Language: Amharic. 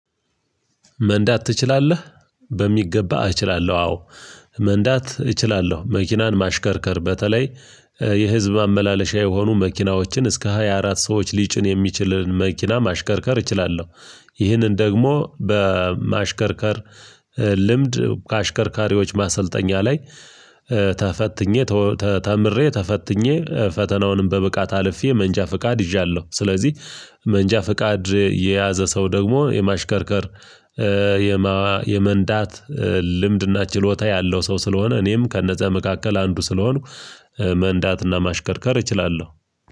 መንዳት ትችላለህ? በሚገባ እችላለሁ አዎ መንዳት እችላለሁ መኪናን ማሽከርከር በተለይ የህዝብ ማመላለሻ የሆኑ መኪናዎችን እስከ ሃያ አራት ሰዎች ሊጭን የሚችልን መኪና ማሽከርከር እችላለሁ ይህንን ደግሞ በማሽከርከር ልምድ ከአሽከርካሪዎች ማሰልጠኛ ላይ ተፈትኜ ተምሬ ተፈትኜ ፈተናውንም በብቃት አልፌ መንጃ ፍቃድ ይዠአለሁ ስለዚህ መንጃ ፍቃድ የያዘ ሰው ደግሞ የማሽከርከር የመንዳት ልምድና ችሎታ ያለው ሰው ስለሆነ እኔም ከነዛ መካከል አንዱ ስለሆንኩ መንዳትና ማሽከርከር እችላለሁ።